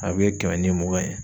A bɛ kɛmɛ ni mugan ye.